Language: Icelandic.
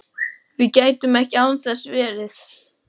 Við gætum ekki án þess verið